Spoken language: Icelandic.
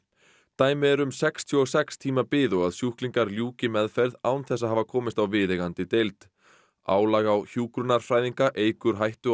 dæmi eru um sextíu og sex tíma bið og að sjúklingar ljúki meðferð án þess að hafa komist á viðeigandi deild álag á hjúkrunarfræðinga eykur hættu á